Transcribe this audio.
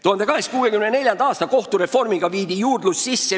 1864. aasta kohtureformiga viidi sisse juurdlus kui selline.